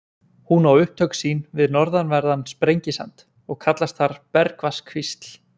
Hún á upptök sín við norðanverðan Sprengisand og kallast þar Bergvatnskvísl.